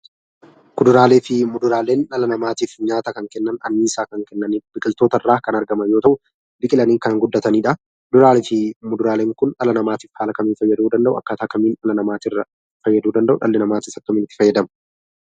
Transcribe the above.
Kuduraaleefi muduraaleen dhala namaatif nyaata kan kennan, anniisaa kan kennaniifi biqiltoota irraa kan argaman yeroo ta'u, biqilanii kan guddatanidha. Kuduraaleefi fuduraaleen kun dhala namaatiif haala kamiin fayyaduu danda'u? Akkaataa kamiin dhala namaa fayyaduu danda'u? Dhalli namaas akkamiin itti fayyadama?